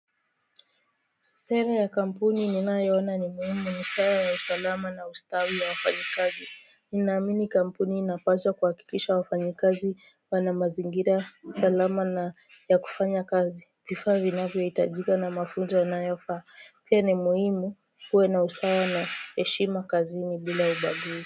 Sera ya kampuni ninayo ona ni muhimu ni sera ya usalama na ustawi ya wafanyi kazi. Ninaamini kampuni inapaswa kuhakikisha wafanyikazi wana mazingira salama na ya kufanya kazi. Vifaa vinavyohitajika na mafunzo yanayofaa. Pia ni muhimu kuwe na usawa na heshima kazini ni bila ubaguzi.